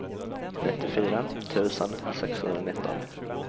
nittiofyra tusen sexhundranitton